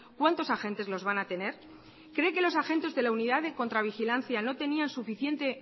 cuántos agentes los van a tener cree que los agentes de la unidad de contravigilancia no tenían suficiente